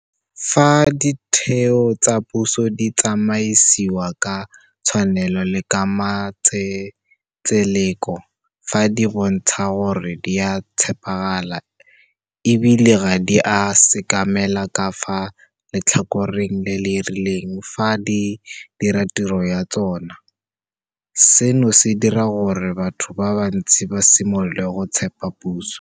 Fa ditheo tsa puso di tsamaisiwa ka tshwanelo le ka matsetseleko, fa di bontsha gore di a tshepagala e bile ga di a sekamela ka fa letlhakoreng le le rileng fa di dira tiro ya tsona, seno se dira gore batho ba bantsi ba simolole go tshepa puso.